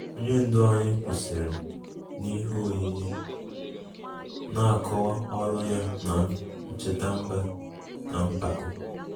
Onye ndu anyị kwụsịrị n'ihe oyiyi, na-akọwa ọrụ ya na ncheta mba na mpako